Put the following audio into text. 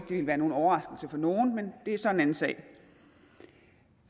det ville være nogen overraskelse for nogen men det er så en anden sag